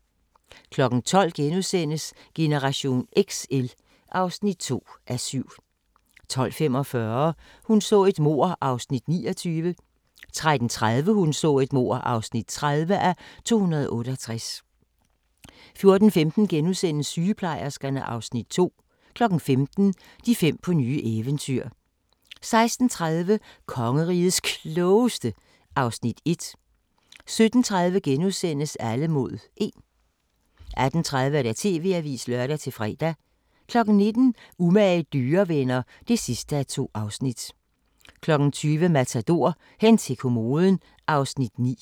12:00: Generation XL (2:7)* 12:45: Hun så et mord (29:268) 13:30: Hun så et mord (30:268) 14:15: Sygeplejerskerne (Afs. 2)* 15:00: De fem på nye eventyr 16:30: Kongerigets Klogeste (Afs. 1) 17:30: Alle mod 1 * 18:30: TV-avisen (lør-fre) 19:00: Umage dyrevenner (2:2) 20:00: Matador - hen til kommoden (Afs. 9)